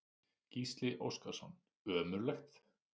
Gísli Óskarsson: Ömurlegt?